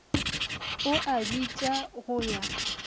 o a bitša go ya